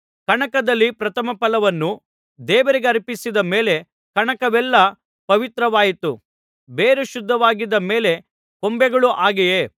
ಕಣಕದಲ್ಲಿ ಪ್ರಥಮಫಲವನ್ನು ದೇವರಿಗರ್ಪಿಸಿದ ಮೇಲೆ ಕಣಕವೆಲ್ಲಾ ಪವಿತ್ರವಾಯಿತು ಬೇರು ಶುದ್ಧವಾಗಿದ್ದ ಮೇಲೆ ಕೊಂಬೆಗಳೂ ಹಾಗೆಯೇ